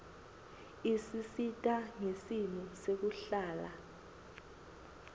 isisita ngesimo sekuhlala